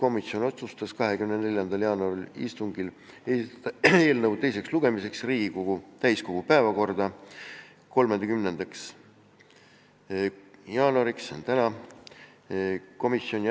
Õiguskomisjon otsustas 24. jaanuari istungil esitada eelnõu teiseks lugemiseks Riigikogu täiskogu päevakorda 30. jaanuariks, see on siis tänaseks.